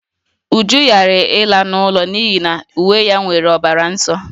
Uju ghara ịla n'ụlọ n'ihi na uwe ya nwere ọbara nsọ